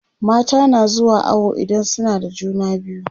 mata na zuwa awo idan suna da juna biyu